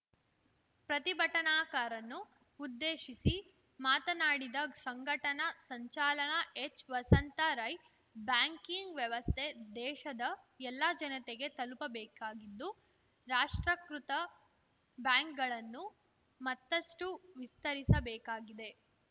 ಪ್ರತಿಭಟನಾಕಾರನ್ನು ಉದ್ದೇಶಿಸಿ ಮಾತನಾಡಿದ ಸಂಘಟನ ಸಂಚಾಲಕ ಎಚ್‌ವಸಂತ ರೈ ಬ್ಯಾಂಕಿಂಗ್‌ ವ್ಯವಸ್ಥೆ ದೇಶದ ಎಲ್ಲಾ ಜನತೆಗೆ ತಲುಪಬೇಕಾಗಿದ್ದು ರಾಷ್ಟ್ರಕೃತ ಬ್ಯಾಂಕ್‌ಗಳನ್ನು ಮತ್ತಷ್ಟುವಿಸ್ತರಿಸಬೇಕಾಗಿದೆ